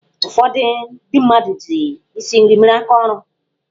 Ụfọdụ ndị mmadụ ji isi nri mere aka ọrụ.